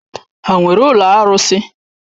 Ha nwere ụlọ arụsị?